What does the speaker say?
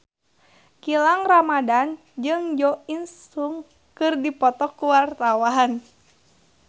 Gilang Ramadan jeung Jo In Sung keur dipoto ku wartawan